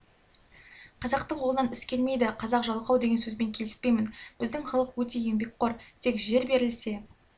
қазақтың қолынан іс келмейді қазақ жалқау деген сөзбен келіспеймін біздің халық өте еңбекқор тек жер берілсе